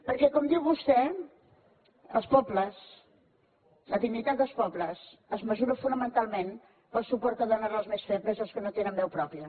perquè com diu vostè els pobles la dignitat dels pobles es mesura fonamentalment pel suport que dónes als més febles i als que no tenen veu pròpia